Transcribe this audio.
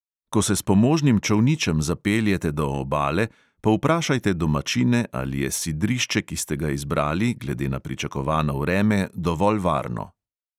Ko se s pomožnim čolničem zapeljete do obale, povprašajte domačine, ali je sidrišče, ki ste ga izbrali, glede na pričakovano vreme dovolj varno.